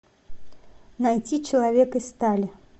найти человек из стали